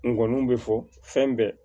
N kɔnniw bɛ fɔ fɛn bɛɛ